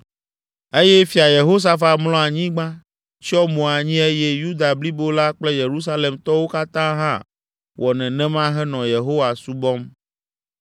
Eye Fia Yehosafat mlɔ anyigba, tsyɔ mo anyi eye Yuda blibo la kple Yerusalemtɔwo katã hã wɔ nenema henɔ Yehowa subɔm.